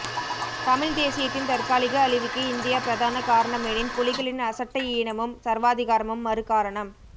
தமிழ் தேசியத்தின் தற்காலிக அழிவுக்கு இந்தியா பிரதான காரணமெனின் புலிகளின் அசட்டையீனமும் சர்வாதிகாரமும் மறு காரணம்